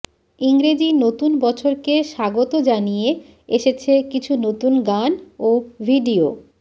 ইংরেজি নতুন বছরকে স্বাগত জানিয়ে এসেছে কিছু নতুন গান ও ভিডিও